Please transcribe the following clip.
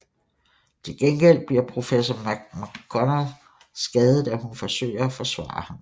Til gengæld bliver Professor McGonagall skadet da hun forsøger at forsvare ham